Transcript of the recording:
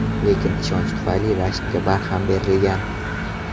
Lekin ishonch tufayli rashkka barham berilgan.